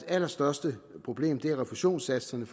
allerstørste problem er refusionssatserne